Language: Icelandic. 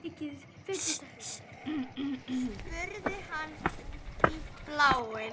spurði hann út í bláinn.